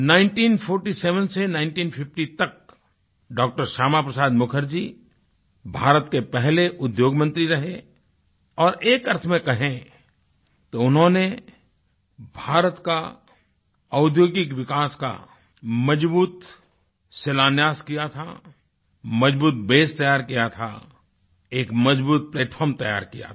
1947 से 1950 तक डॉ० श्यामा प्रसाद मुखर्जी भारत के पहले उद्योग मंत्री रहे और एक अर्थ में कहें तो उन्होंने भारत का औद्योगिक विकास का मज़बूत शिलान्यास किया था मज़बूत बसे तैयार किया था एक मज़बूत प्लैटफार्म तैयार किया था